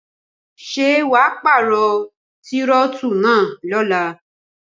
Ṣé wà paarọ tírótù náà lóla